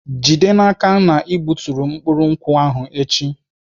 Jide n'aka na ị gbuturu mkpụrụ nkwụ ahụ echi!